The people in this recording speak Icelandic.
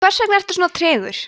hversvegna ertu svona tregur